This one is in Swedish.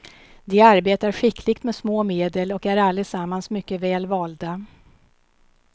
De arbetar skickligt med små medel och är allesammans mycket väl valda.